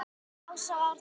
Ása og Árni.